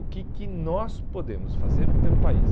O que que nós podemos fazer pelo país?